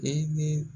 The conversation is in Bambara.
E ni